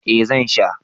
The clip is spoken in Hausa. eh Zan sha